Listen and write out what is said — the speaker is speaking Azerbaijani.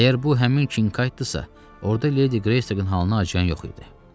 Əgər bu həmin Kinqaytlıdırsa, orda Ledi Qreystokun halına acıyan yox idi.